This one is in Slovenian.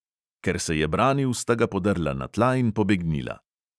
Ker se je branil, sta ga podrla na tla in pobegnila.